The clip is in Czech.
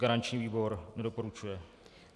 Garanční výbor nedoporučuje.